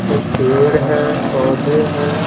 कुछ पेड़ हैं पौधे हैं।